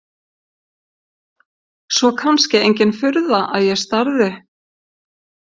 Svo kannski engin furða að ég starði.